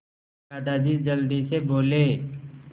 दादाजी जल्दी से बोले